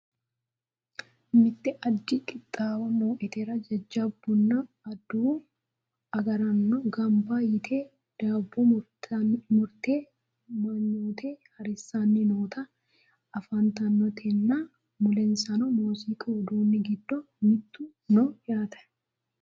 mitte addi qixxaawo nootera jajjabbunna adawu agraano ganba yite daabbo murate manyoote harissanni noota anfannitenna mulensano muziiqu uduunni giddo mitte no yaate